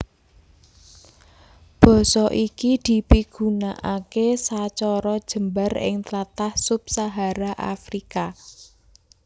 Basa iki dipigunakaké sacara jembar ing tlatah sub Sahara Afrika